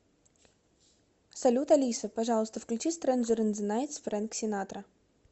салют алиса пожалуйста включи стренжер ин зе найтс френк синатра